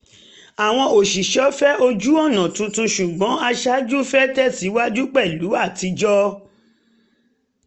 àwọn òṣìṣẹ́ fẹ́ ojú-ọ̀nà tuntun ṣùgbọ́n aṣáájú fẹ́ tẹ̀síwájú pẹ̀lú atijọ́